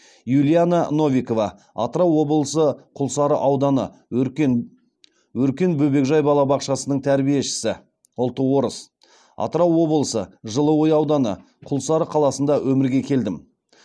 юлиана новикова атырау облысы құлсары ауданы өркен бөбекжай балабақшасының тәрбиешісі ұлты орыс атырау облысы жылыой ауданы құлсары қаласында өмірге келдім